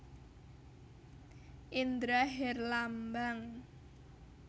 Indra Herlambang